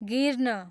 गिर्न